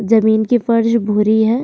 जमीन की फर्श भूरी है।